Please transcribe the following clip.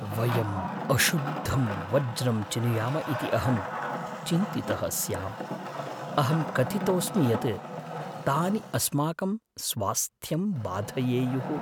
वयम् अशुद्धं वज्रम् चिनुयाम इति अहं चिन्तितः स्याम्। अहं कथितोऽस्मि यत् तानि अस्माकं स्वास्थ्यं बाधयेयुः।